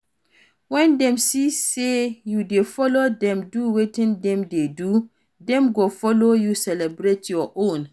When dem see sey you dey follow dem do wetin dem dey do, dem go follow you celebrate your own